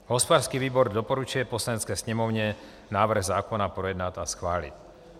Hospodářský výbor doporučuje Poslanecké sněmovně návrh zákona projednat a schválit.